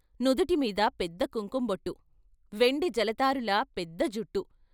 నుదుటి మీద పెద్ద కుంకుం బొట్టు, వెండి జలతారులా పెద్ద జుట్టు.